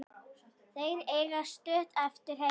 Þeir eiga stutt eftir heim.